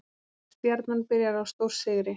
Stjarnan byrjar á stórsigri